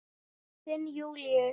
Þinn Júlíus.